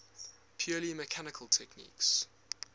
purely mechanical techniques